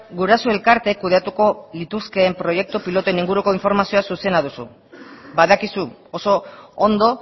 guraso elkarteek kudeatuko lituzkeen proiektu pilotuen inguruko informazioa zuzena duzu badakizu oso ondo